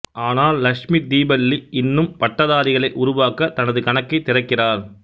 ஆனால் லக்ஷ்மி தீபல்லி இன்னும் பட்டதாரிகளை உருவாக்க தனது கணக்கை திறக்கிறார்